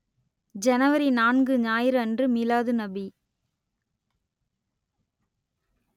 ஜனவரி நான்கு ஞாயிறு அன்று மிலாதுநபி